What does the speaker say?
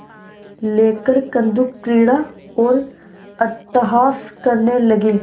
लेकर कंदुकक्रीड़ा और अट्टहास करने लगी